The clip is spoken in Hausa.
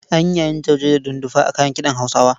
An yi yayin jauje da dundufa a kayan kiɗan Hausawa.